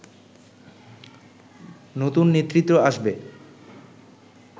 নতুন নেতৃত্ব আসবে